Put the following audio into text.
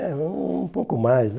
É, um pouco mais.